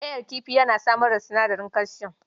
Ƙayan kifi yana samar da sinadarin kalsiyom.